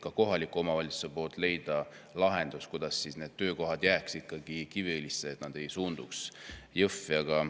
Ka kohalik omavalitsus püüdis leida lahendust, kuidas need töökohad jääks ikkagi Kiviõlisse, et need ei suunduks Jõhvi.